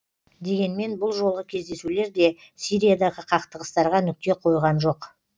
дегенмен бұл жолғы кездесулер де сириядағы қақтығыстарға нүкте қойған жоқ